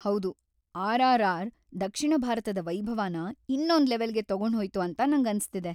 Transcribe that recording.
ಹೌದು, ಆರ್‌.ಆರ್‌.ಆರ್‌. ದಕ್ಷಿಣ ಭಾರತದ ವೈಭವನ ಇನ್ನೊಂದ್ ಲೆವಲ್ಗೆ ತಗೊಂಡ್ಹೋಯ್ತು ಅಂತ ನಂಗನ್ಸ್ತಿದೆ.